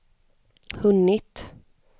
hunnit